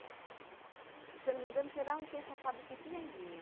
E, se eu não me engano, foi lá onde tem essa fábrica de piranguinha.